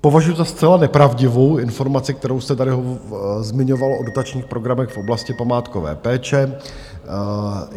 Považuji za zcela nepravdivou informaci, kterou jste tady zmiňoval, o dotačních programech v oblasti památkové péče.